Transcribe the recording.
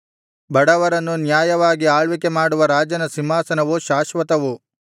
ಬಡವರನ್ನು ನ್ಯಾಯವಾಗಿ ಆಳ್ವಿಕೆ ಮಾಡುವ ರಾಜನ ಸಿಂಹಾಸನವು ಶಾಶ್ವತವು